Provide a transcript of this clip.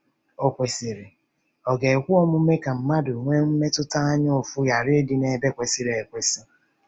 Okwesịrị, ọ̀ ga-ekwe omume ka mmadụ nwee mmetụta anyaụfụ ghara ịdị n’ebe kwesịrị ekwesị?